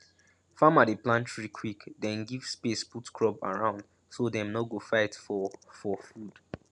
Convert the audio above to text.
farmer dey plant tree quick then give space put crop around so dem no go fight for for food